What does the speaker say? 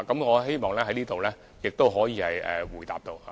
我希望這可以回答到這個問題。